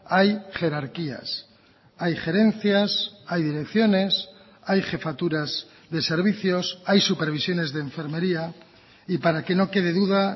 hay jerarquías hay gerencias hay direcciones hay jefaturas de servicios hay supervisiones de enfermería y para que no quede duda